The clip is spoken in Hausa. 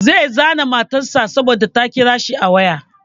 Zai zane matar sa saboda ta kira shi a waya.